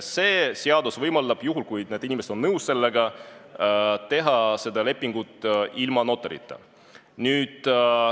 See seadus võimaldab – juhul, kui need inimesed on nõus – teha see leping ilma notarita.